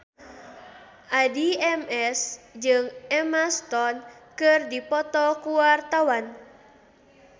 Addie MS jeung Emma Stone keur dipoto ku wartawan